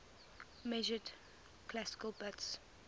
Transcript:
measured classical bits